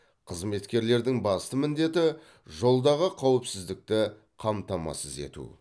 қызметкерлердің басты міндеті жолдағы қауіпсіздікті қамтамасыз ету